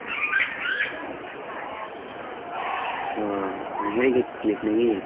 ও, মানে হেরে গেছিলিস নাকি?